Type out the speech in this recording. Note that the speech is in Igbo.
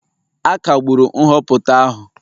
A kagburu nhọpụta ahụ